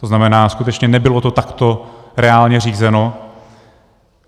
To znamená, skutečně nebylo to takto reálně řízeno.